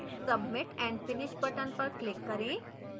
submit and finish button पर click करें